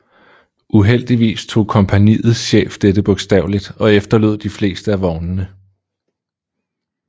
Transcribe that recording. Uheldigvis tog kompagniets chef dette bogstaveligt og efterlod de fleste af vognene